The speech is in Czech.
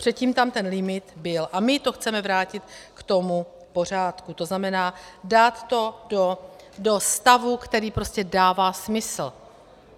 Předtím tam ten limit byl a my to chceme vrátit k tomu pořádku, to znamená, dát to do stavu, který prostě dává smysl.